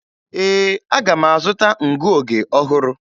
Ee, aga m azụta ngụoge ọhụrụ.